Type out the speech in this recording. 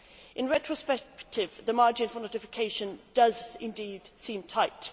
In retrospect the margin for notification does indeed seem tight.